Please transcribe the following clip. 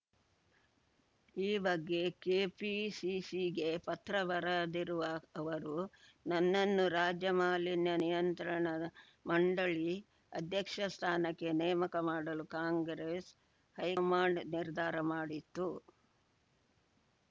ಈ ಬಗ್ಗೆ ಕೆಪಿಸಿಸಿಗೆ ಪತ್ರ ಬರದಿರುವ ಅವರು ನನ್ನನ್ನು ರಾಜ್ಯ ಮಾಲಿನ್ಯ ನಿಯಂತ್ರಣ ಮಂಡಳಿ ಅಧ್ಯಕ್ಷ ಸ್ಥಾನಕ್ಕೆ ನೇಮಕ ಮಾಡಲು ಕಾಂಗ್ರೆಸ್‌ ಹೈಕಮಾಂಡ್‌ ನಿರ್ಧಾರ ಮಾಡಿತ್ತು